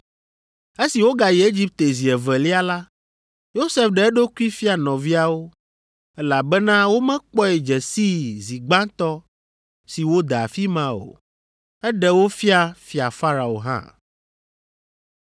Esi wogayi Egipte zi evelia la, Yosef ɖe eɖokui fia nɔviawo, elabena womekpɔe dze sii zi gbãtɔ si wode afi ma o. Eɖe wo fia Fia Farao hã.